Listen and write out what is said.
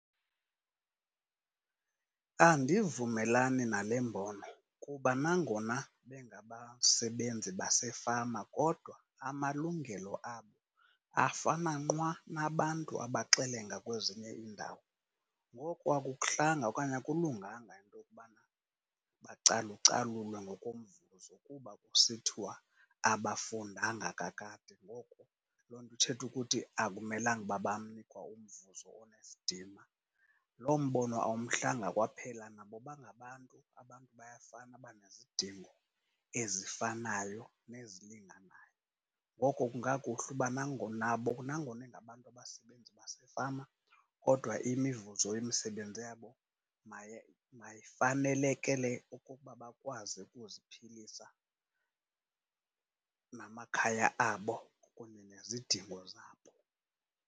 Andivumelani nale mbono kuba nangona bengabasebenzi basefama kodwa amalungelo abo afana nqwa nabantu abaxelenga kwezinye indawo. Ngoko akukuhlanga okanye akulunganga into yokubana bacalucalulwe ngokomvuzo kuba kusithiwa abafundanga kakade, ngoko loo nto ithetha ukuthi akumelanga uba banikwa umvuzo onesidima. Loo mbono awumhlanga kwaphela nabo bangabantu, abantu bayafana banezidingo ezifanayo nezilinganayo. Ngoko kungakuhle uba nangona bona nangona ingabantu efama kodwa imivuzo yemisebenzi yabo mayifanelekele ukuba bakwazi ukuziphilisa namakhaya abo kunye nezidingo zabo.